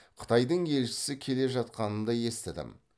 қытайдың елшісі келе жатқанын да естідім